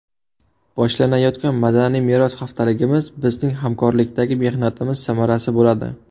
Boshlanayotgan Madaniy meros haftaligimiz bizning hamkorlikdagi mehnatimiz samarasi bo‘ladi.